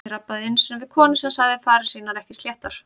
Ég rabbaði einu sinni við konu sem sagði farir sínar ekki sléttar.